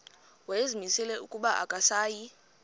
wayezimisele ukuba akasayi